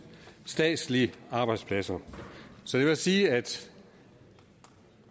statslige arbejdspladser så det vil sige at